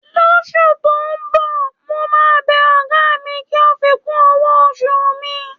Lóṣú tó ń bọ̀, mo máa bẹ ọ̀gá mi kí ó fi kún owó oṣù mi.